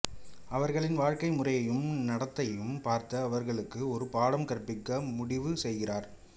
அவர்களின் வாழ்க்கை முறையையும் நடத்தையையும் பார்த்து அவர்களுக்கு ஒரு பாடம் கற்பிக்க முடிவு செய்கிறார்